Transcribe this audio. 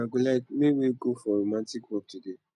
una go like make wey go for romantic walk today